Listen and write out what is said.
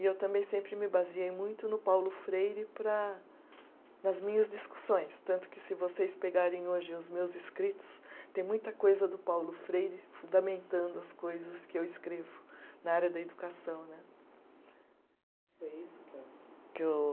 E eu também sempre me baseei muito no Paulo Freire para nas minhas discussões, tanto que se vocês pegarem hoje os meus escritos, tem muita coisa do Paulo Freire fundamentando as coisas que eu escrevo na área da educação né. que eu